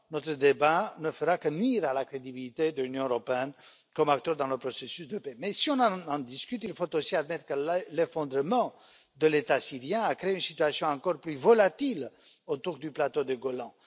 Notre débat ne fera que nuire à la crédibilité de l'Union européenne comme acteur dans le processus de paix. Mais si on en discute, il faut aussi admettre que l'effondrement de l'État syrien a créé une situation encore plus volatile autour du plateau du Golan.